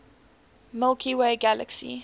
milky way galaxy